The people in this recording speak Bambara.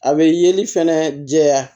A bɛ yeli fɛnɛ jɛya